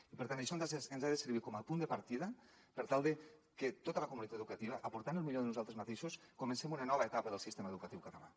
i per tant això ens ha de servir com a punt de partida per tal de que tota la comunitat educativa aportant el millor de nosaltres mateixos comencem una nova etapa del sistema educatiu català